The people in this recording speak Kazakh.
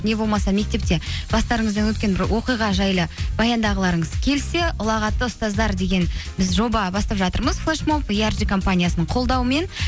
не болмаса мектепте бастарыңыздан өткен бір оқиға жайлы баяндағыларыңыз келсе ұлағатты ұстаздар деген біз жоба бастап жатырмыз флешмоб компаниясының қолдауымен